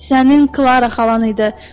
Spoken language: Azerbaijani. Sənin Klara xalan idi.